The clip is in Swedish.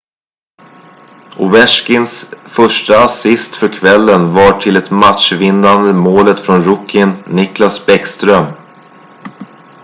ovechkins första assist för kvällen var till det matchvinnande målet från rookien nicklas bäckström